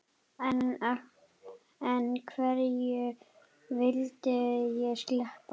En hverju vildi ég sleppa?